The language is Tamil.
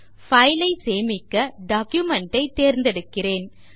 file ஐ சேமிக்க டாக்குமென்ட் ஐ தேர்ந்தெடுக்கிறேன்